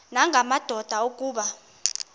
nanga madoda kuba